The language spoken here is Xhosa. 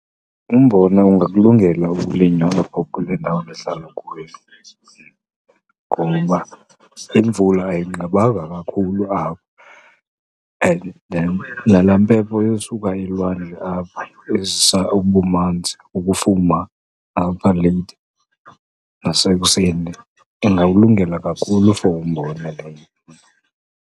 Umbona ungakulungela ukulinywa apha kule ndawo ndihlala kuyo. Ngoba imvula ayinqabanga kakhulu apha and nalaa mpepho esuka elwandle apha ezisa ubumanzi, ukufuma apha leyithi nasekuseni, ingawulungela kakhulu for umbona leyo.